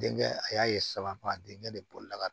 Denkɛ a y'a ye sababa denkɛ de bɔli la